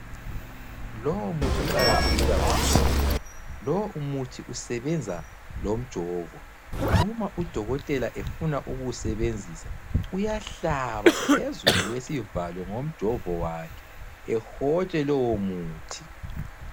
Lowomuthi uqakatheke kakhulu. Lowomuthi usebenza lomjovo, uma udokotela efuna ukuwusebenzisa uyahlaba phezulu kwesivalo ngomjovo wakhe ehotshe lowomuthi.